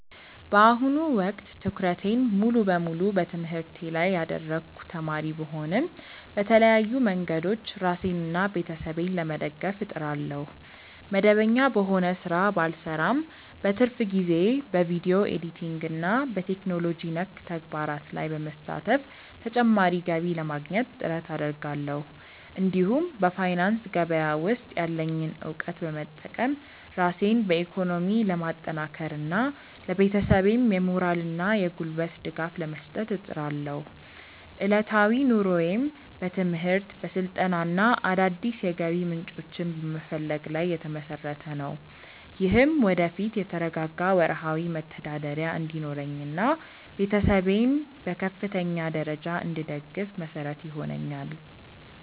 በአሁኑ ወቅት ትኩረቴን ሙሉ በሙሉ በትምህርቴ ላይ ያደረግኩ ተማሪ ብሆንም፣ በተለያዩ መንገዶች ራሴንና ቤተሰቤን ለመደገፍ እጥራለሁ። መደበኛ በሆነ ሥራ ባልሰማራም፣ በትርፍ ጊዜዬ በቪዲዮ ኤዲቲንግና በቴክኖሎጂ ነክ ተግባራት ላይ በመሳተፍ ተጨማሪ ገቢ ለማግኘት ጥረት አደርጋለሁ። እንዲሁም በፋይናንስ ገበያ ውስጥ ያለኝን እውቀት በመጠቀም ራሴን በኢኮኖሚ ለማጠናከርና ለቤተሰቤም የሞራልና የጉልበት ድጋፍ ለመስጠት እጥራለሁ። ዕለታዊ ኑሮዬም በትምህርት፣ በስልጠናና አዳዲስ የገቢ ምንጮችን በመፈለግ ላይ የተመሰረተ ነው። ይህም ወደፊት የተረጋጋ ወርሃዊ መተዳደሪያ እንዲኖረኝና ቤተሰቤን በከፍተኛ ደረጃ እንድደግፍ መሰረት ይሆነኛል።